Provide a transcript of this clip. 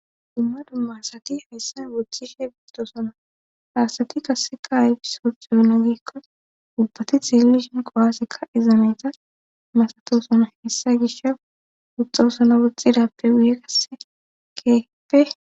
dumma dumma asati hayssan woxhxishe biittosona hasati kasseka ayf suxuyona giikko ubbati tellishin qowaassikka izameta masatosona hessa gisha uxxausona woxxidappe guye kasse keeppe